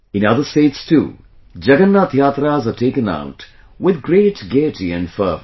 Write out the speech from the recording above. In other states too, Jagannath Yatras are taken out with great gaiety and fervour